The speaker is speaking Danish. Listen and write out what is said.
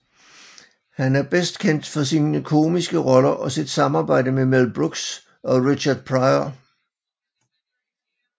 Han er bedst kendt for sine komiske roller og sit samarbejde med Mel Brooks og Richard Pryor